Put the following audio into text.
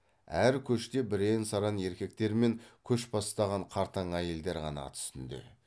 әр көште бірен саран еркектер мен көш бастаған қартаң әйелдер ғана ат үстінде